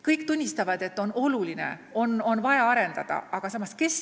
Kõik tunnistavad, et valdkond on oluline, seda on vaja arendada, aga kes seda teeb?